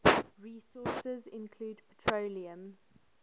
resources include petroleum